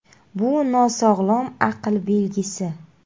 Bu – nosog‘lom aql belgisi.